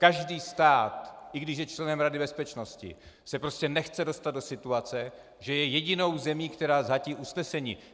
Každý stát, i když je členem Rady bezpečnosti, se prostě nechce dostat do situace, že je jedinou zemí, která zhatí usnesení.